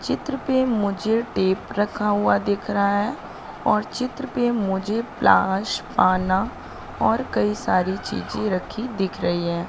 चित्र पे मुझे टेप रखा हुआ दिख रहा है और चित्र पे मुझे प्लास आना और कई सारी चीजें रखी दिख रही हैं।